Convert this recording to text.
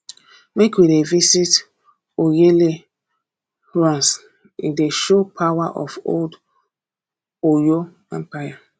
make we dey visit oyoile ruins e dey show power of old oyo empire